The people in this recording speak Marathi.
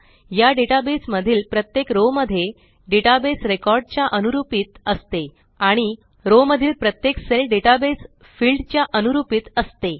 या डेटा बेस मधील प्रत्येक रो मध्ये डेटाबेस रिकॉर्ड च्या अनुरूपीत असते आणि रो मधील प्रत्येक सेल डेटाबेस फील्ड च्या अनुरूपीत असते